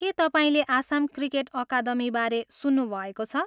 के तपाईँले आसाम क्रिकेट अकादमीबारे सुन्नुभएको छ?